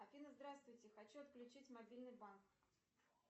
афина здравствуйте хочу отключить мобильный банк